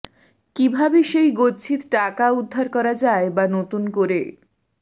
কী ভাবে সেই গচ্ছিত টাকা উদ্ধার করা যায় বা নতুন করে